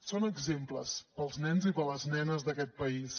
són exemples per als nens i per a les nenes d’aquest país